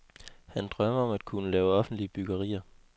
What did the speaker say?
Han drømmer om at kunne lave offentlige byggerier.